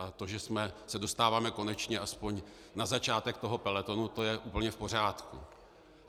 A to, že se dostáváme konečně aspoň na začátek toho pelotonu, to je úplně v pořádku.